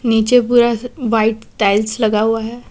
नीचे पूरा white tiles लगा हुआ है।